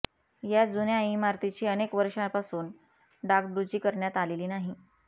या जुन्या इमारतीची अनेक वर्षापासून डागडुजी करण्यात आलेली नाही